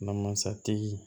Namasatigi